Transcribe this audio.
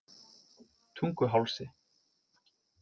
Tunguhálsi